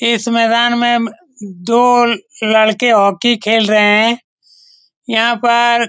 इस मैदान में दो लड़के हॉकी खेल रहे हैं यहां पर --